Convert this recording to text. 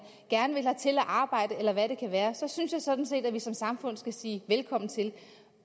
gerne vil hertil og arbejde eller hvad det kan være så synes jeg sådan set at vi som samfund skal sige velkommen til